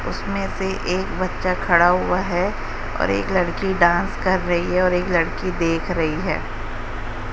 उसमें से एक बच्चा खड़ा हुआ है और एक लड़की डांस कर रही है और एक लड़की देख रही है।